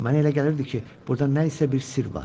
Mənə elə gəlirdi ki, burada nə isə bir sirr var.